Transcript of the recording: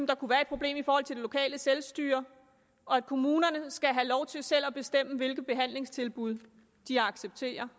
der kunne være et problem i forhold til det lokale selvstyre og at kommunerne skal have lov til selv at bestemme hvilke behandlingstilbud de accepterer